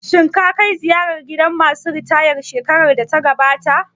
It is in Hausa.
Shin ka kai ziyara gidan ma su ritaya shekarar da ta gabata?